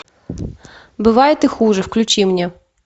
бывает и хуже включи мне